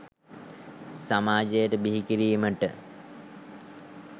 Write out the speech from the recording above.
සමාජයට බිහි කිරීමට